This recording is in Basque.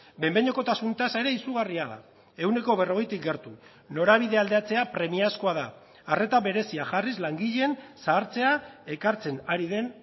behin behinekotasun tasa ere izugarria da ehuneko berrogeitik gertu norabidea aldatzea premiazkoa da arreta berezia jarriz langileen zahartzea ekartzen ari den